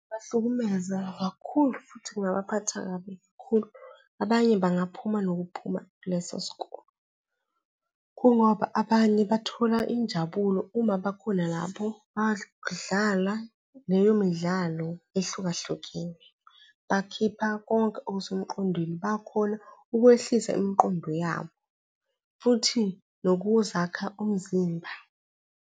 Bahlukumeza kakhulu futhi kungaphatheka kabi kakhulu. Abanye bangaphuma nokuphuma kulesosikole, kungoba abanye bathola injabulo uma bakhona lapho badlala leyomidlalo ehlukahlukene, bakhipha konke okusemqondweni, bakhona ukwehlisa imiqondo yabo futhi nokuzaka umzimba.